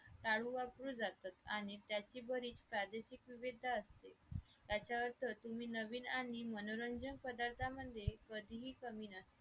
तालू वापरून जातात आणि त्याचे भरीत प्रादेशिक विविध असते त्याच्यावरचं नवीन आणि मनोरंजन पदार्थांमध्ये कधीही कमी नसतात